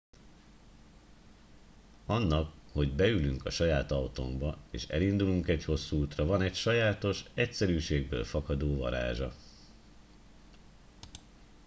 annak hogy beülünk a saját autónkba és elindulunk egy hosszú útra van egy sajátos egyszerűségből fakadó varázsa